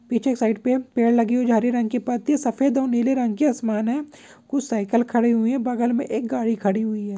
पीछे साइड पे पेड़ लगी हुई जो हरी रंग की पत्ती सफेद और नीले रंग की आसमान हैंकुछ साईकिल खड़े हुए हैं बगल में एक गाड़ी खड़ी हुई है।